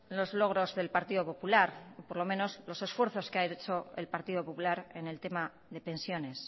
los logros del partido popular o por lo menos los esfuerzos que ha hecho el partido popular en el tema de pensiones